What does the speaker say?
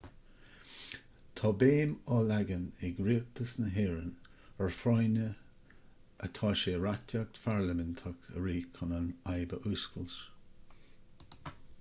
tá béim á leagan ag rialtas na héireann ar a phráinne atá sé reachtaíocht pharlaiminteach a rith chun an fhadhb a fhuascailt